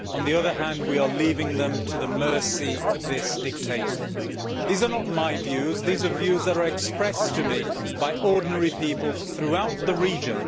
On the other hand, we are leaving them to the mercy of this dictator. These are not my views, these are views that are expressed to me by ordinary people throughout the region.